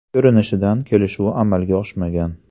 Ko‘rinishidan, kelishuv amalga oshmagan.